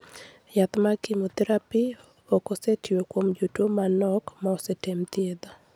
Yath mar chemotherapy ok osetiyo kuom jotuwo manok ma osetem thiedho.